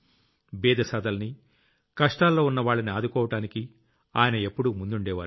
బీదసాదల్ని కష్టాల్లో ఉన్నవాళ్లని ఆదుకోవడానికి ఆయన ఎప్పుడూ ముందుండేవారు